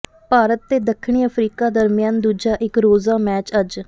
ਭਾਰਤ ਤੇ ਦੱਖਣੀ ਅਫ਼ਰੀਕਾ ਦਰਮਿਆਨ ਦੂਜਾ ਇਕ ਰੋਜ਼ਾ ਮੈਚ ਅੱਜ